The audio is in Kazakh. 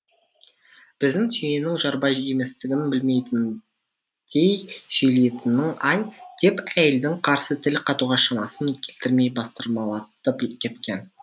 біздің түйенің жарбай еместігін білмейтіндей сөйлейтінің ай деп әйелдің қарсы тіл қатуға шамасын келтірмей бастырмалатып кеткен